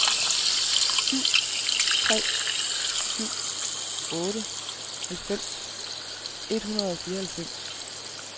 syv tre syv otte halvfems et hundrede og fireoghalvfems